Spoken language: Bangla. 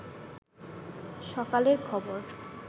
সকালের খবর